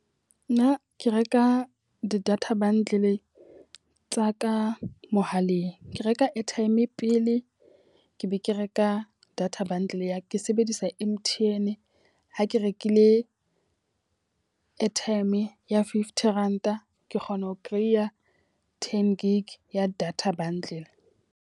Nna ke reka di-data bundle tsa ka mohaleng. Ke reka airtime pele ke be ke reka data bundle ya ke sebedisa sa M_T_N. Ha ke rekile airtime ya fifty ranta ke kgona ho kereiya ten gig ya data bundle.